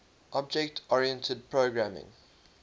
object oriented programming